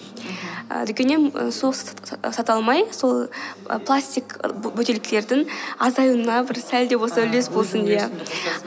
мхм і дүкеннен сол сата алмай сол ы пластик бөтелкелердің азаюына бір сәл де болсын үлес болсын иә